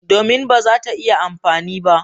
Domin ba za ta iya amfani ba.